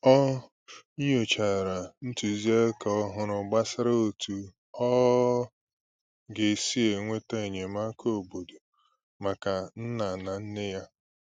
Ọ nyochàrà ntụziaka òhùrù gbasàrà otú ọ ga-esi enweta enyémàkà óbọ̀dò maka nna na nne ya.